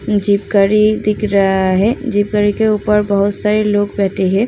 Jeep गाड़ी दिख रहा है। जीप गाड़ी के उपर बोहोत सरे लोग बेठे हैं।